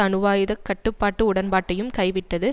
அணுவாயுதக் கட்டுப்பாட்டு உடன்பாட்டையும் கைவிட்டது